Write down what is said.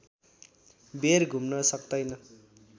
बेर घुम्न सक्तैन